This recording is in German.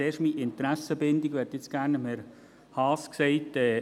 Zuerst meine Interessenbindung: Ich hätte nun gerne Herrn Haas gesagt: